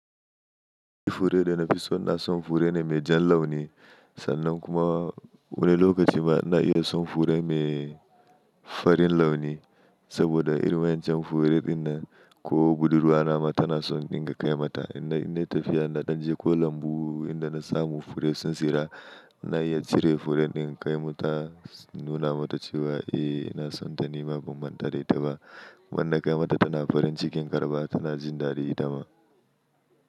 Fure da na fi so na son fure mai jan launi sannan kuma wani lokaci ma na iya son fure mai farin launi saboda irin wancan fure ɗin na ko budurwa na mata tana son indin ga kai mata. In na yi tafiya na canje ko lambu inda na samu fure sun tsira, na iya cire fure ɗin kai mata nuna mata cewa, "Eh na son ta nima ban man ta da itaba." Man na kai mata tana farin cikin ƙaraba tana jin ɗadi ita ma.